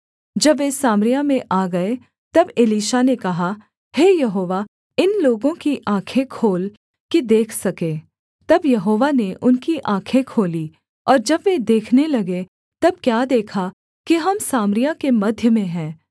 जब वे सामरिया में आ गए तब एलीशा ने कहा हे यहोवा इन लोगों की आँखें खोल कि देख सकें तब यहोवा ने उनकी आँखें खोलीं और जब वे देखने लगे तब क्या देखा कि हम सामरिया के मध्य में हैं